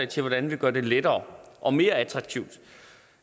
til hvordan vi gør det lettere og mere attraktivt